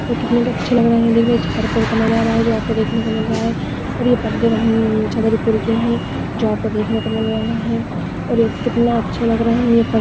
कितने अच्छे लग रे है देखिये ये छत्रपूर का नजारा है जो आपको देखणे को मिल रहा हैऔर ये पडदे वही छत्रपूर के है कितने अच्छे लग रहे है ये पडदे.